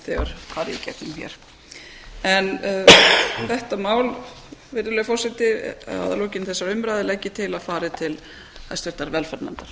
þegar farið í gegnum hér virðulegi forseti að lokinni þessari umræðu legg ég til að þetta mál fari til hæstvirtrar velferðarnefndar